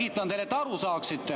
Ma selgitan teile, et te aru saaksite.